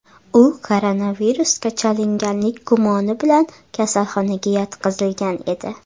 U koronavirusga chalinganlik gumoni bilan kasalxonaga yotqizilgan edi.